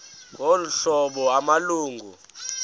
ngolu hlobo amalungu